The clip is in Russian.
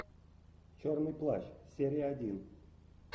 черный плащ серия один